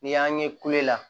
N'i y'an ye kulo la